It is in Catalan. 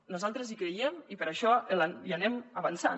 nosaltres hi creiem i per això hi anem avançant